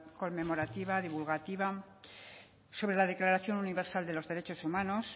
con conmemorativa divulgativa sobre la declaración universal de los derechos humanos